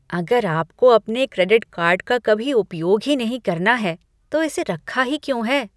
अगर आपको अपने क्रेडिट कार्ड का कभी उपयोग ही नहीं करना है तो इसे रखा ही क्यों है?